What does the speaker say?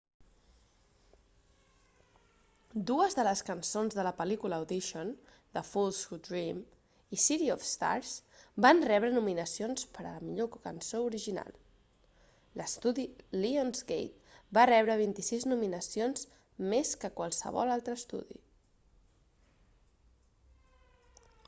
dues de les cançons de la pel·lícula audition the fools who dream i city of stars van rebre nominacions per a la millor cançó original. l'estudi lionsgate va rebre 26 nominacions  més que qualsevol altre estudi